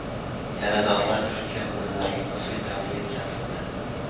Yaradorlar Turkiya hududidagi gospitalga yetkazildi.